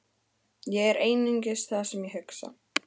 Ég er einungis það sem ég hugsa.